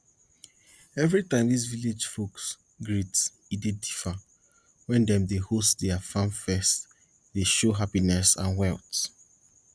every time dis village folks greet e dey differ wen dem dey host dia farm feast dey show happiness and wealth